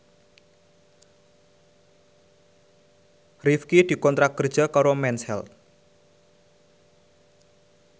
Rifqi dikontrak kerja karo Mens Health